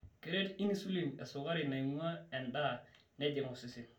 keret insulin esukari nainguaaa endaa nejing osesen.